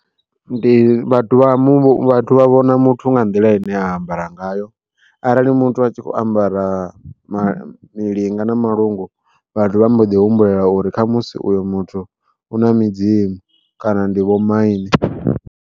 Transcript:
Ndi vhathu vha mu vhathu vha vhona muthu nga nḓila ine a ambara ngayo arali muthu a tshi kho ambara milinga na malungu, vhathu vha mbo ḓi humbula uri khamusi uyo muthu u na midzimu kana ndi vho maine.